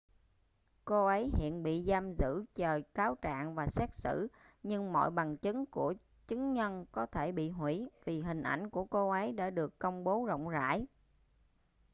cô ấy hiện bị tạm giữ chờ cáo trạng và xét xử nhưng mọi bằng chứng của chứng nhân có thể bị hủy vì hình ảnh của cô ấy đã được công bố rộng rãi